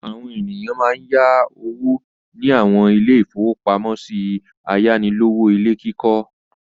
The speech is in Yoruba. Àwọn ènìyàn máa ń yá owó ní àwọn ilé-ìfowópamọ́sí ayánilówó ilé kíkọ́.